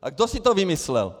A kdo si to vymyslel?